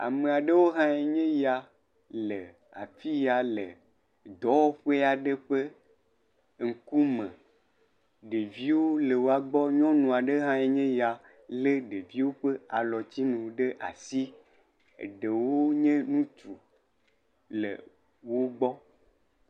Ame aɖewo hãe nye ya le afi ya le dɔwɔƒe aɖe ƒe ŋkume. Ɖeviwo le woagbɔ. Nyɔnu aɖe hãe nye ya lé ɖeviwo ƒe alɔtsinu ɖe asi. Eɖewo nye ŋutsu le wogbɔ.